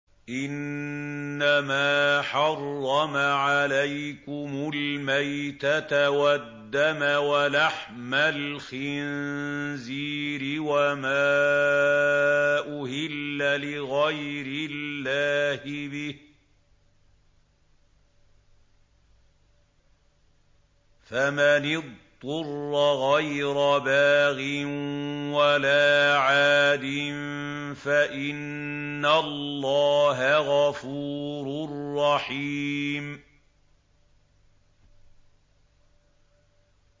إِنَّمَا حَرَّمَ عَلَيْكُمُ الْمَيْتَةَ وَالدَّمَ وَلَحْمَ الْخِنزِيرِ وَمَا أُهِلَّ لِغَيْرِ اللَّهِ بِهِ ۖ فَمَنِ اضْطُرَّ غَيْرَ بَاغٍ وَلَا عَادٍ فَإِنَّ اللَّهَ غَفُورٌ رَّحِيمٌ